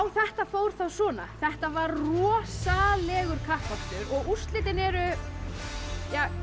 þetta fór þá svona þetta var rosalegur kappakstur og úrslitin eru